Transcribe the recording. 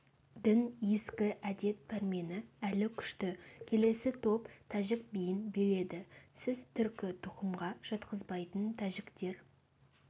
дін ескі әдет пәрмені әлі күшті келесі топ тәжік биін биледі сіз түркі тұқымға жатқызбайтын тәжіктер